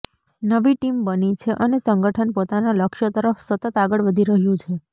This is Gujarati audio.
નવી ટીમ બની છે અને સંગઠન પોતાનાં લક્ષ્ય તરફ સતત આગળ વધી રહ્યું છે